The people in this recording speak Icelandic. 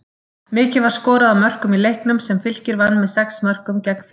Mikið var skorað af mörkum í leiknum, sem Fylkir vann með sex mörkum gegn fimm.